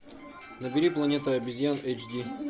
набери планета обезьян эйч ди